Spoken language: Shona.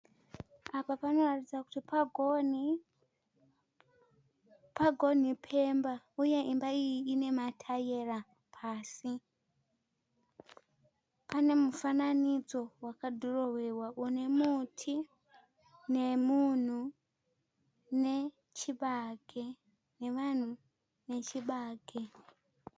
Apa panoratidza kuti pagoni, pagoni pemba. Uye imba iyi inemaitara pasi Panemufananidzo vakadhorowewa une muti nemunhu nechibage, nevanhu nechibage.